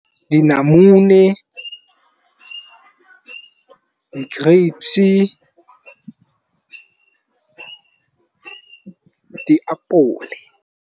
Di namune di grape-se diapole.